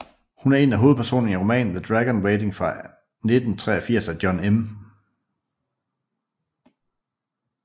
Hun er en af hovedpersonerne i romanen The Dragon Waiting fra 1983 af John M